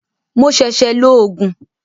Mo ṣẹ̀ṣẹ̀ lo Ògùn